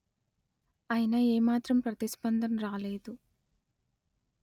అయినా ఏ మాత్రం ప్రతిస్పందన రాలేదు